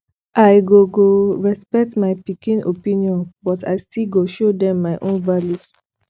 i go go respect my pikin opinion but i still go show dem my own values